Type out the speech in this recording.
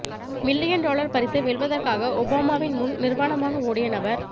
million dollar பரிசை வெல்வதற்காக ஒபாமாவின் முன் நிர்வாணமாக ஓடிய நபர்